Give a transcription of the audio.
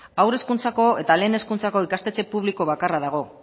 haur hezkuntzako eta lehen hezkuntzako ikastetxe publiko bakarra dago